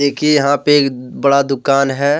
देखिए यहां पे एक बड़ा दुकान है।